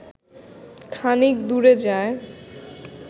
খানিক দূরে যায়